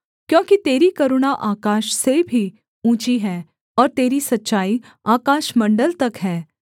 क्योंकि तेरी करुणा आकाश से भी ऊँची है और तेरी सच्चाई आकाशमण्डल तक है